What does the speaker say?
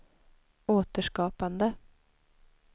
återskapande